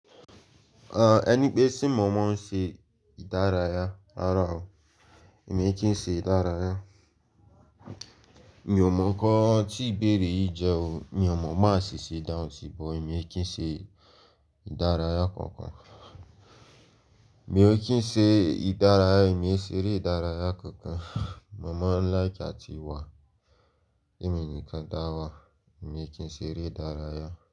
À, ẹni pé tí mo mọ ṣe ìdárayá, rara o, èmi kì ṣe ìdárayá. Mi ò mọ nǹkan tí ìbéèrè yìí jẹ́ o, mi ò mọ má ṣe ṣèdá òun sì, but èmi kì í ṣe ìdárayá kankan. Èmi ò kí ń ṣe ìdárayá, èmi ò ṣe eré ìdárayá kankan. Mo maa like ati ti wà. Èmi nìkan dáwà, èmi kí ń ṣe eré ìdárayá.